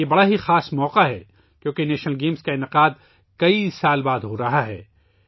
یہ ایک بہت ہی خاص موقع ہے کیونکہ کئی سالوں کے بعد نیشنل گیمز کا انعقاد کیا جا رہا ہے